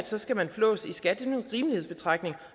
så skal man flås i skat en rimelighedsbetragtning